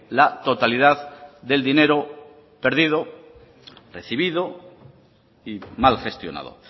la totalidad del dinero perdido recibido y mal gestionado